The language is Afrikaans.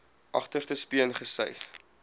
agterste speen gesuig